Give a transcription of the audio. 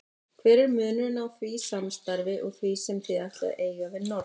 Hver er munurinn á því samstarfi og því sem þið ætlið að eiga við Norðmenn?